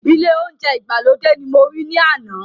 Ile ounje igbalode ní mo ri ni àna